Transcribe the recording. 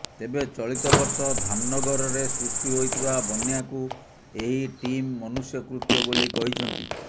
ତେବେ ଚଳିତ ବର୍ଷ ଧାମନଗରରେ ସୃଷ୍ଟି ହୋଇଥିବା ବନ୍ୟାକୁ ଏହି ଟିମ ମନୃଷ୍ୟକୃତ୍ୟ ବୋଲି କହିଛନ୍ତି